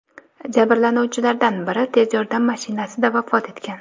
jabrlanuvchilardan biri tez yordam mashinasida vafot etgan.